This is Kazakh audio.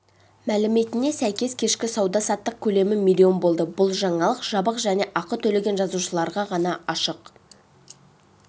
мәліметіне сәйкес кешкі сауда-саттық көлемі миллион болды бұл жаңалық жабық және ақы төлеген жазылушыларға ғана ашық